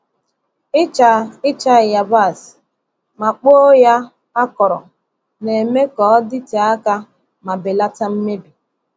Ịcha Ịcha yabasị ma kpoo ya akọrọ na-eme ka ọ dịte aka ma belata mmebi.